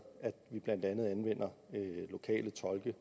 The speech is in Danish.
at vi blandt andet anvender lokale tolke